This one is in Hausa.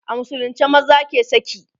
a musulunce maza ke saki